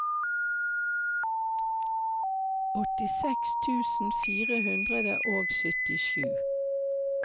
åttiseks tusen fire hundre og syttisju